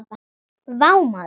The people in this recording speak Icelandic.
Vá maður!